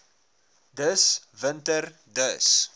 dis winter dis